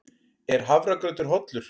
Er hafragrautur hollur?